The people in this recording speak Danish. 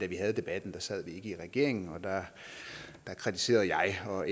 vi havde debatten sad vi ikke i regering og der kritiserede jeg og